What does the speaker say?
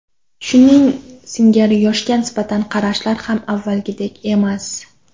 Shuning singari yoshga nisbatan qarashlar ham avvalgidek emas.